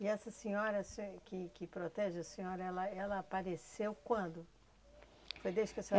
E essa senhora se que que protege a senhora, ela ela apareceu quando? Foi desde que a senhora